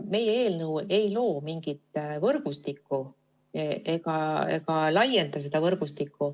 Meie eelnõu ei loo mingit võrgustikku ega laienda seda võrgustikku.